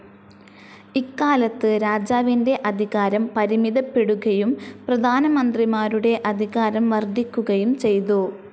ഇക്കാലത്ത് രാജാവിന്റെ അധികാരം പരിമിതപ്പെടുകയും, പ്രധാനമന്ത്രിമാരുടെ അധികാരം വർദ്ധിക്കുകയും ചെയ്തു.